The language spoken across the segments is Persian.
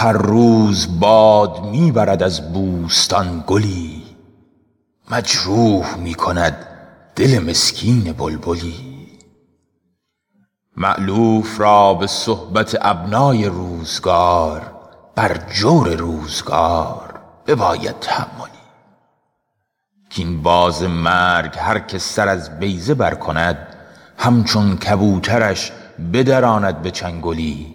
هر روز باد می برد از بوستان گلی مجروح می کند دل مسکین بلبلی مألوف را به صحبت ابنای روزگار بر جور روزگار بباید تحملی کاین باز مرگ هر که سر از بیضه بر کند همچون کبوترش بدراند به چنگلی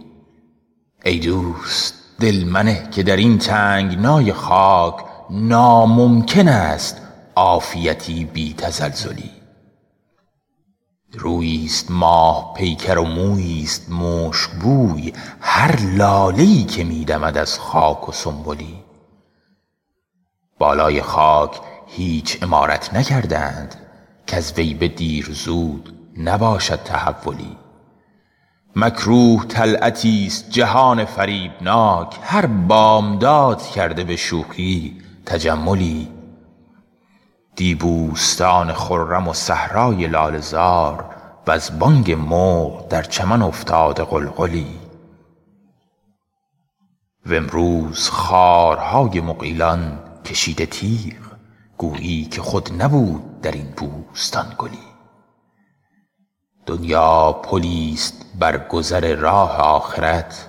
ای دوست دل منه که در این تنگنای خاک ناممکن است عافیتی بی تزلزلی روییست ماه پیکر و موییست مشکبوی هر لاله ای که می دمد از خاک و سنبلی بالای خاک هیچ عمارت نکرده اند کز وی به دیر زود نباشد تحولی مکروه طلعتیست جهان فریبناک هر بامداد کرده به شوخی تجملی دی بوستان خرم و صحرای لاله زار وز بانگ مرغ در چمن افتاده غلغلی و امروز خارهای مغیلان کشیده تیغ گویی که خود نبود در این بوستان گلی دنیا پلیست بر گذر راه آخرت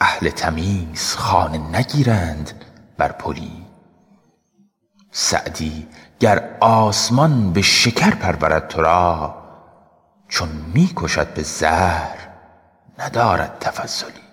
اهل تمیز خانه نگیرند بر پلی سعدی گر آسمان به شکر پرورد تو را چون می کشد به زهر ندارد تفضلی